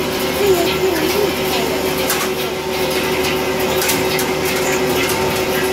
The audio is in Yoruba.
ó yẹ kí ó ní ìpayà ìdààmú ọkàn àti um ìsoríkọ